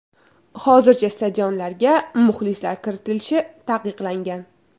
Hozircha stadionlarga muxlislar kiritilishi taqiqlangan.